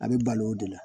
A bɛ balo o de la